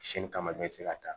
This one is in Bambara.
Siyɛnni kama bɛɛ bɛ se ka taa